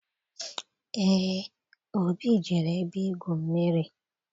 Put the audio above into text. Eé, Obi jere ebe igwu mmiri.